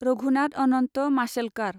Raghunath Anant Mashelkar